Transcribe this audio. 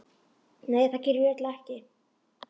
Nei það geri ég örugglega ekki.